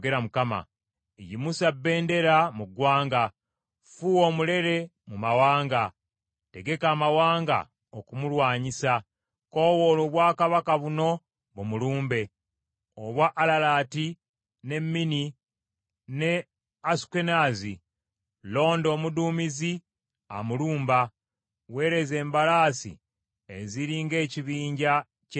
“Yimusa bendera mu ggwanga! Fuuwa omulere mu mawanga! Tegeka amawanga okumulwanyisa; koowoola obwakabaka buno bumulumbe: obwa Alalati ne Mini ne Asukenaazi. Londa omuduumizi amulumba, weereza embalaasi eziri ng’ekibinja ky’enzige.